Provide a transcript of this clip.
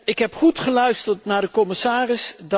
Ik heb goed geluisterd naar de commissaris.